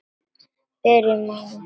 Byrjum á nýjan leik.